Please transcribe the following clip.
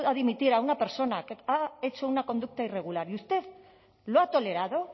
dimitir a una persona que ha hecho una conducta irregular y usted lo ha tolerado